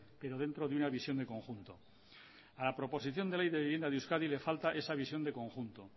pero dentro de una visión de conjunto a la proposición de ley de vivienda de euskadi le falta esa visión de conjunto